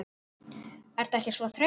Ertu ekkert svo þreytt?